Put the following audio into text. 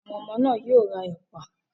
Àwọn ọmọ náà yóò ra ẹ̀pà.